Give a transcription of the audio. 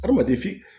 Adamaden fin